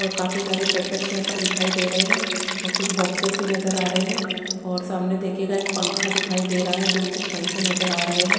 और काफी सारे पैकेट्स यहाँ पर दिखाई दे रहे है और कुछ बॉक्सेस भी नज़र आरे है और सामने दिखिएगा एक पंखा दिखाई देरा है दो तिन पंखे नज़र आ रहे है।